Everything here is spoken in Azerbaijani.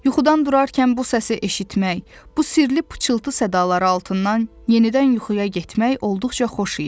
Yuxudan durarkən bu səsi eşitmək, bu sirli pıçıltı sədaları altından yenidən yuxuya getmək olduqca xoş idi.